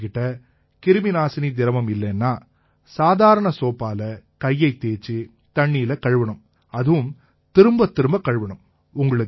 உங்ககிட்ட கிருமிநாசினி திரவம் இல்லைன்னா சாதாரண சோப்பால கையைத் தேய்ச்சு தண்ணியில கழுவணும் அதுவும் திரும்பத்திரும்பக் கழுவணும்